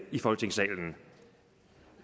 i folketingssalen